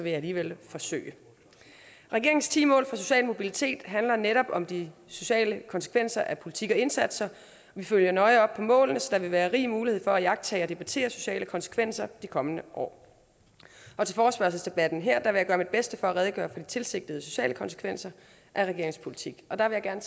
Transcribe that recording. jeg alligevel forsøge regeringens ti mål for social mobilitet handler netop om de sociale konsekvenser af politik og indsatser og vi følger nøje op på målene så der vil være rig mulighed for at iagttage og debattere sociale konsekvenser de kommende år og til forespørgselsdebatten her vil jeg gøre mit bedste for at redegøre for de tilsigtede sociale konsekvenser af regeringens politik og der vil jeg